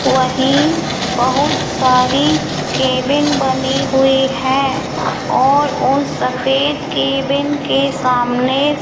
वहीं बहुत सारी केबिन बनी हुई है और उन सफेद केबिन के सामने --